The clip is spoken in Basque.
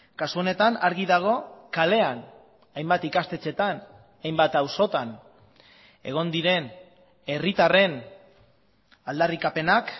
kasu honetan argi dago kalean hainbat ikastetxetan hainbat auzotan egon diren herritarren aldarrikapenak